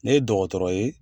Ne ye dɔgɔtɔrɔ ye